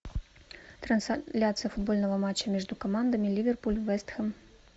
трансляция футбольного матча между командами ливерпуль вест хэм